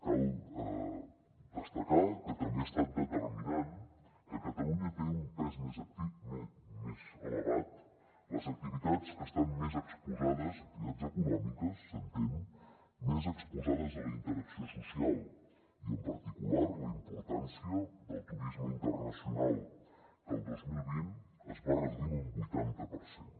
cal destacar que també ha estat determinant que a catalunya tenen un pes més elevat les activitats que estan més exposades activitats econòmiques s’entén a la interacció social i en particular la importància del turisme internacional que el dos mil vint es va reduir en un vuitanta per cent